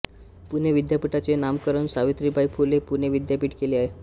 पुणे विद्यापीठाचे नामकरण सावित्रीबाई फुले पुणे विद्यापीठ केले आहे